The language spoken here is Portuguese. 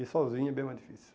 E sozinho é bem mais difícil.